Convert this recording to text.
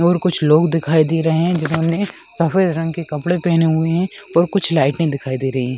और कुछ लोग दिखाई दे रहे है जो हमे सफ़ेद रंग के कपड़े पहने हुए है और कुछ लाइटें दिखाई दे रही है।